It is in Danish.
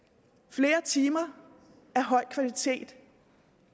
flere timer af høj kvalitet